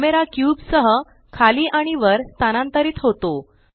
camera cube सह खाली आणि वर स्थानांतरित होतो